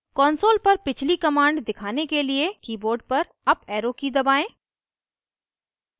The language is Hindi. console पर पिछली command दिखाने के लिए keyboard पर अप arrow की दबाएं